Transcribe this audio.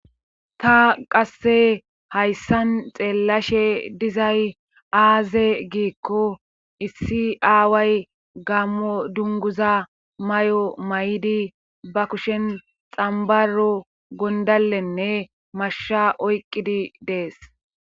ta qasse hayssan xeellashe dizay aaze giikko issi aaway gammo dunguza may7o may7idi ba kushen xambaro gondalenne mashsha oyqqidi dees